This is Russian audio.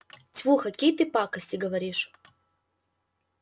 тьфу какие ты пакости говоришь